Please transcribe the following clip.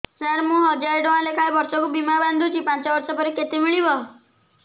ସାର ମୁଁ ହଜାରେ ଟଂକା ଲେଖାଏଁ ବର୍ଷକୁ ବୀମା ବାଂଧୁଛି ପାଞ୍ଚ ବର୍ଷ ପରେ କେତେ ମିଳିବ